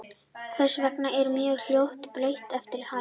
Hvers vegna eru mörk hljóðmúrsins breytileg eftir hæð?